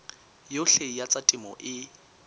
yohle ya tsa temo e